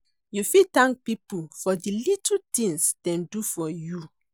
you fit thank people for di little tings dem do for you.